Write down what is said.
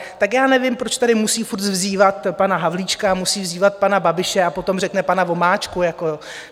Tak já nevím, proč tady musí furt vzývat pana Havlíčka, musí vzývat pana Babiše a potom řekne pana Vomáčku.